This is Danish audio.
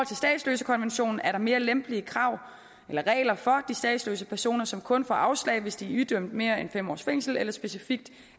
statsløsekonventionen er der mere lempelige regler for statsløse personer som kun får afslag hvis de er idømt mere end fem års fængsel eller specifikt